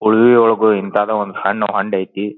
ಉಳುವೆ ಒಳಗು ಇಂತದ ಒಂದು ಸಣ್ಣ ಹೊಂಡ ಅಯ್ತಿ --